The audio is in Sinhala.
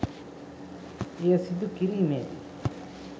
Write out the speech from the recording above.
එය සිදු කිරීමේදී